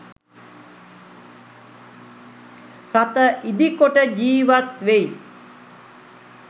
රථ ඉදිකොට ජීවත් වෙයි.